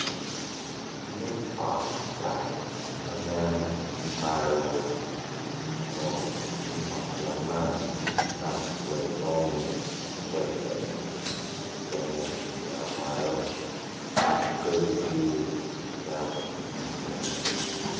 Nyim ot cat ma nen ki malo kun nyim ot man kicato iye kwayi jami mapadipadi mukene kilyero malo wa buke ducu kicato i nyime kenyu.